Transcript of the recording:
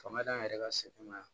Fanga d'an yɛrɛ ka sɛnɛ ma yan